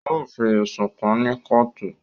Wọn o fi ẹsùn kàn ní kootu